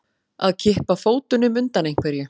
Að kippa fótunum undan einhverju